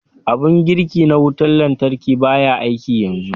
Abun girki na wutar lantarki ɓaya aiki yanzu.